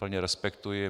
Plně respektuji.